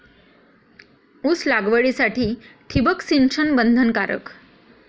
ऊस लागवडीसाठी ठिबक सिंचन बंधनकारक!